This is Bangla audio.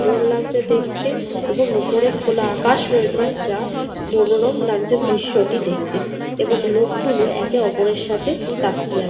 সুন্দর লাগছে দেখতে। এবং ওপরে খোলা আকাশ রয়েছে যা মনোরম লাগছে দৃশ্য়টি দেখতে । এবং লোকগুলো একে অপরের সাথে তাকিয়ে আছে ।